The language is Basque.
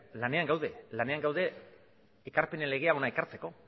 lanean gaude lanean gaude ekarpenen legea hona ekartzeko